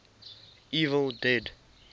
evil dead